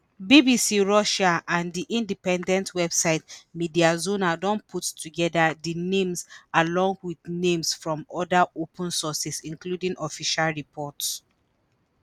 bbc russian and di independent website mediazona don put togeda di names along with names from oda open sources including official reports.